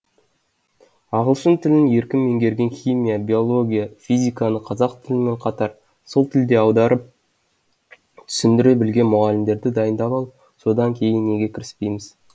ағылшын тілін еркін меңгерген химия биология физиканы қазақ тілімен қатар сол тілде аударып түсіндіре білетін мұғалімдерді дайындап алып содан кейін неге кіріспейміз